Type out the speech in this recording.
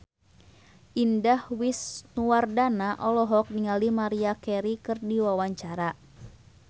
Indah Wisnuwardana olohok ningali Maria Carey keur diwawancara